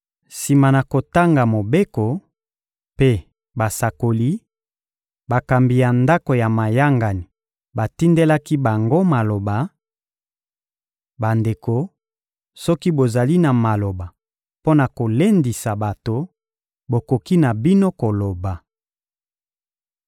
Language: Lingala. Sima na kotanga Mobeko mpe Basakoli, bakambi ya ndako ya mayangani batindelaki bango maloba: — Bandeko, soki bozali na maloba mpo na kolendisa bato, bokoki na bino koloba.